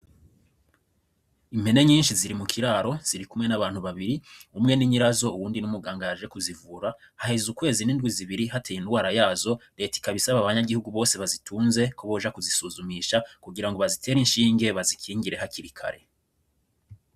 Impene nyinshi ziri mu kiraro ziri kumwe n'abantu babiri umwe ninyirazo uwundi n'umugangayaje kuzivura haheze ukwezi n'indwi zibiri hateye indwara yazo reta ikabisaba abanyagihugu bose bazitunze kuboja kuzisuzumisha kugira ngo bazitere inshi'ingeba zikingire hakirikare.